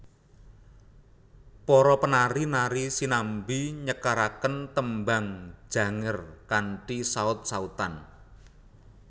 Para penari nari sinambi nyekaraken Tembang Janger kanthi saut sautan